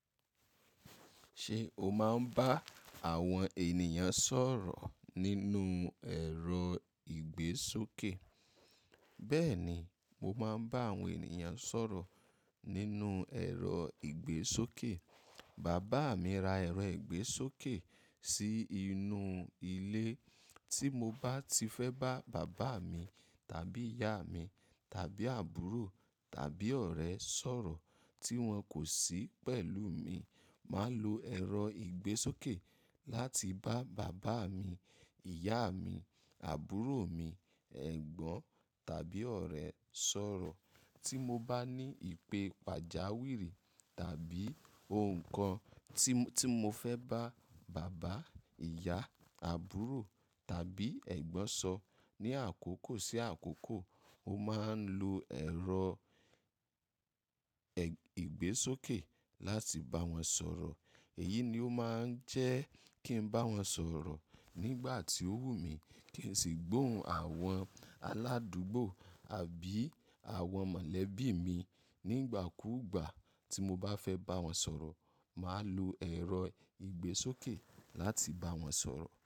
Ṣé o máa ń bá àwọn ènìyàn sọ̀rọ̀ nínú ẹ̀rọ ìgbésókè? Bẹ́ẹ̀ni, mo máa ń bá àwọn ènìyàn sọ̀rọ̀ nínú ẹ̀rọ ìgbésókè. Bàbá mi ra ẹ̀rọ ìgbésókè sí inú ilé. Tí mo bá ti fẹ́ bá bàbá mi tàbí ìyá mi tàbí àbúrò tàbí ọ̀rẹ́ sọ̀rọ̀ tí wọ́n kò sí pẹ̀lú mi, màá lo ẹ̀rọ ìgbésókè láti bá bàbá mi, ìyá mi, àbúrò mi, ẹ̀gbọ́n tàbí ọ̀rẹ́ sọ̀rọ̀. Tí mo bá ní ìpè pàjáwìrì tàbí ohun kan tí mo fẹ́ bá bàbá, ìyá, àbúrò tàbí ẹ̀gbọ́n sọ ní àkókò sí àkókò, mo máa ń lo ẹ̀rọ ìgbésókè láti bá wọn sọ̀rọ̀. Èyí ni ó máa ń jẹ́ kí n bá wọn sọ̀rọ̀ nígbà tí ó wù mí kí n sì gbóhùn àwọn aládùúgbò àbí àwọn mọ̀lẹ́bí mi. Nígbà kúgbà tí mo bá fẹ́ bá wọn sọ̀rọ̀, màá lo ẹ̀rọ ìgbésókè láti bá wọn sọ̀rọ̀